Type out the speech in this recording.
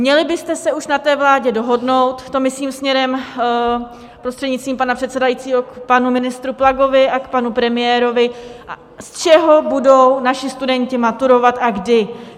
Měli byste se už na té vládě dohodnout, to myslím směrem, prostřednictvím pana předsedajícího, k panu ministru Plagovi a k panu premiérovi, z čeho budou naši studenti maturovat a kdy.